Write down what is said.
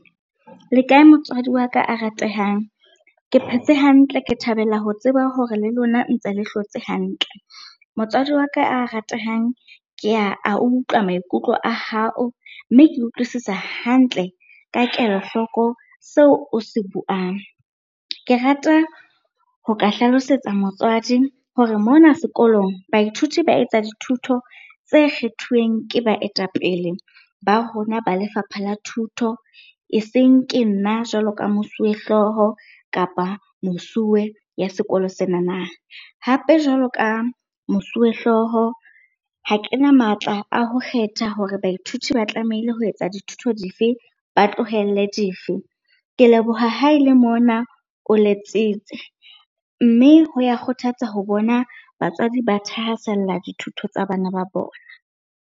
Le kae motswadi wa ka a ratehang? Ke phetse hantle, ke thabela ho tseba hore le lona ntse le hlotse hantle. Motswadi wa ka a ratehang, ke ya a utlwa maikutlo a hao mme ke utlwisisa hantle ka kelohloko seo o se buang. Ke rata ho ka hlalosetsa motswadi hore mona sekolong, baithuti ba etsa dithuto tse kgethuweng ke baetapele ba rona ba lefapha la thuto e seng ke nna jwalo ka mosuwehlooho kapa mosuwe ya sekolo senana. Hape jwalo ka mosuwehlooho ha kena matla a ho kgetha hore baithuti ba tlamehile ho etsa dithuto dife? ba tlohelle dife? Ke leboha ha ele mona o letsitse, mme ho ya kgothatsa ho bona batswadi ba thahasella dithuto tsa bana ba bona.